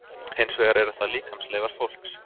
hins vegar eru það líkamsleifar fólks